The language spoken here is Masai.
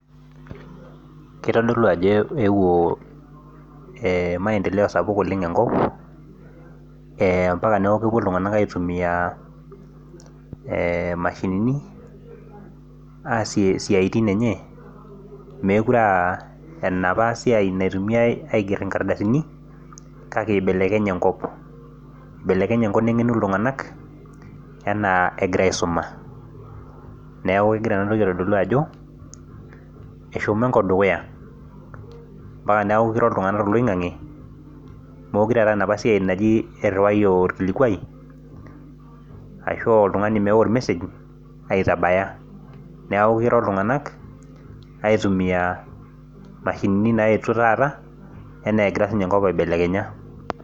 keitodolu ajo eewuo maendeleo sapuk enkop ompaka neeku meekure eigeri nkardasini. neeku eibeleknye enkop nengenu iltunganak anaa egira aisuma neeku eitodolu ajo eshomo iltunganank aitumia mashinini e taata